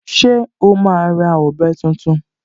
Ṣé o máa ra ọ̀bẹ tuntun?